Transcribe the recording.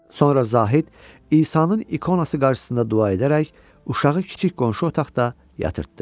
Sonra Zahid İsanın ikonası qarşısında dua edərək uşağı kiçik qonşu otaqda yatırtdı.